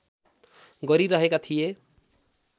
गरिरहेका थिए